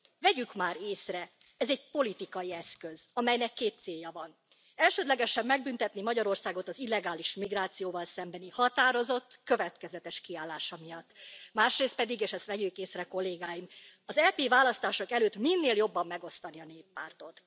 Vegyük már észre, hogy ez egy politikai eszköz, amelynek két célja van elsődlegesen megbüntetni Magyarországot az illegális migrációval szembeni határozott, következetes kiállása miatt, másrészt pedig és vegyük észre, Kollégáim, az EP választások előtt minél jobban megosztani a Néppártot.